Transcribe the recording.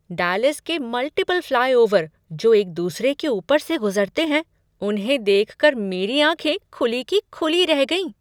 Dallas के multiple flyover, जो एक दूसरे के ऊपर से गुज़रते हैं, उन्हें देख कर मेरी आँखें खुली की खुली रह गईं।